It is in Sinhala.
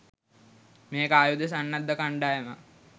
මේක ආයුධ සන්නද්ධ කණ්ඩායමක්.